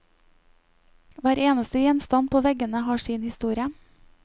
Hver eneste gjenstand på veggene har sin historie.